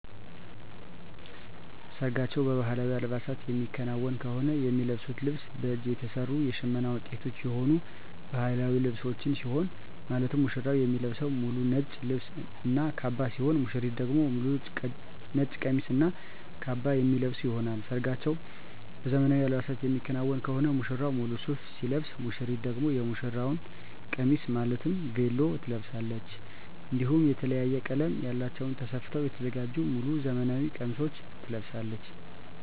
ሰርጋቸው በባህላዊ አልባሳት የሚከናወን ከሆነ የሚለብሱት ልብስ በእጅ የተሰሩ የሽመና ውጤቶች የሆኑ ባህላዊ ልብሶችን ሲሆን ማለትም ሙሽራው የሚለብሰው ሙሉ ነጭ ልብስ እና ካባ ሲሆን ሙሽሪት ደግሞ ሙሉ ነጭ ቀሚስ እና ካባ የሚለብሱ ይሆናል። ሰርጋቸው በዘመናዊ አልባሳት የሚከናወን ከሆነ ሙሽራው ሙሉ ሱፍ ሲለብስ ሙሽሪት ደግሞ የሙሽራ ቀሚስ ማለትም ቬሎ ትለብሳለች። እንዲሁም የተለያየ ቀለም ያላቸውን ተሰፍተው የተዘጋጁ ሙሉ ዘመናዊ ቀሚሶችን ትለብሳለች።